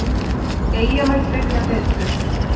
Eyjamenn byrja betur.